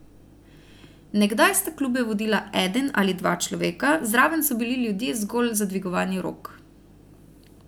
Nekdaj sta klube vodila eden ali dva človeka, zraven so bili ljudje zgolj za dvigovanje rok.